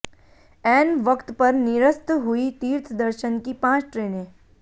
ऐन वक्त पर निरस्त हुई तीर्थ दर्शन की पांच ट्रेनें